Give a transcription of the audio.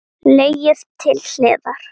Leggið til hliðar.